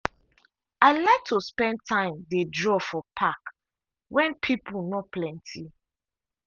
i like to spend time dey draw for park when pipo no plenty.